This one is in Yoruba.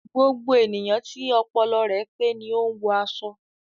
Gbogbo ènìyàn tí ọpọlọ rẹ pé ni o n wọ aṣọ